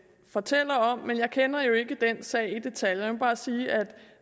fortæller om men jeg kender ikke den sag i detaljer jeg må bare sige